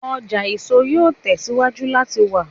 Ọja eso yoo tẹsiwaju lati wa